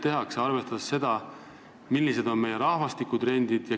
Me peaksime arvestama seda, millised on meie rahvastikutrendid.